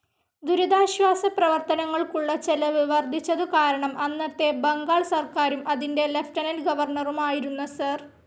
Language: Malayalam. ദുരിതാശ്വാസ പ്രവർത്തനങ്ങൾക്കുള്ള ചെലവ് വർദ്ധിച്ചതുകാരണം അന്നത്തെ ബംഗാൾ സർക്കാരും, അതിൻ്റെ ലിയൂട്ടെനന്റ്‌ ഗവർണറുമായിരുന്ന സർ.